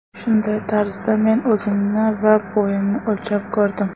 Shunday tarzda men o‘zimni va bo‘yimni o‘lchab ko‘rdim.